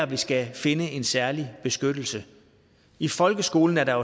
vi skal finde en særlig beskyttelse i folkeskolen er der